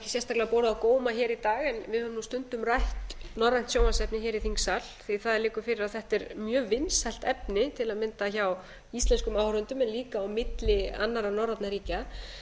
sérstaklega borið á góma hér í dag en við höfum nú stundum rætt norrænt sjónvarpsefni hér í þingsal því það liggur fyrir að þetta er mjög vinsælt efni til að mynda hjá íslenskum áhorfendum en líka á milli annarra norrænna ríkja